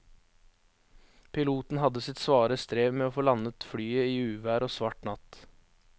Piloten hadde sitt svare strev med å få landet flyet i uvær og svart natt.